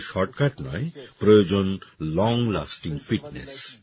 আপনাদের শর্টকাট নয় প্রয়োজন লং লাস্টিং ফিটনেস